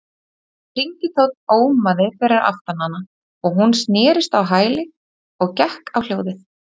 hringitónn ómaði fyrir aftan hana og hún snerist á hæli og gekk á hljóðið.